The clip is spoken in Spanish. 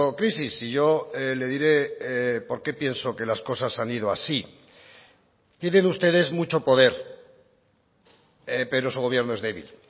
crisis y yo le diré por qué pienso que las cosas han ido así tienen ustedes mucho poder pero su gobierno es débil